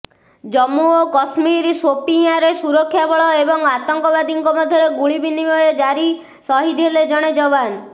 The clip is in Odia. ଜମ୍ମୁ ଓ କଶ୍ମୀର ସୋପିୟାଁରେ ସୁରକ୍ଷାବଳ ଏବଂ ଆତଙ୍କବାଦୀଙ୍କ ମଧ୍ୟରେ ଗୁଳିବିନିମୟ ଜାରି ସହିଦ୍ ହେଲେ ଜଣେ ଯବାନ